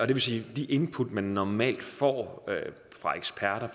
det vil sige at de input man normalt får fra eksperter